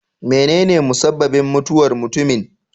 Menene musabbabin mutuwar mutumin?